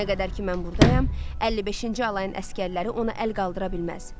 Nə qədər ki mən buradayam, 55-ci alayın əsgərləri ona əl qaldıra bilməz.